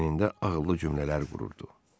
Beynində ağıllı cümlələr qururdu.